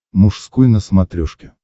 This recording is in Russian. мужской на смотрешке